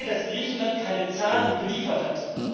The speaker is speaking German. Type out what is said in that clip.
Ich sehe, dass Griechenland keine Zahlen geliefert hat.